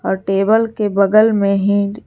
और टेबल की बगल मे ही--